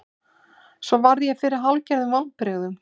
Svo varð ég fyrir hálfgerðum vonbrigðum.